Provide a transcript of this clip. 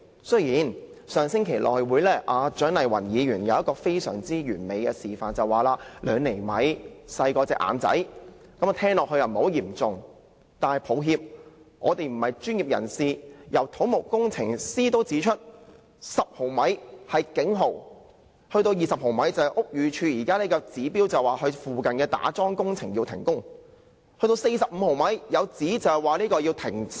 雖然蔣麗芸議員在上星期的內務委員會作了一個非常完美的示範，她說2厘米較眼睛更小，聽起來並不嚴重，但我們不是專業人士，而且土木工程師也指出，沉降10毫米是警號 ，20 毫米已達到屋宇署現時的指標，須要求附近的打樁工程停工，更有指達45毫米的話，西鐵便要停駛。